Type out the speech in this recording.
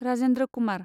Rajendra Kumar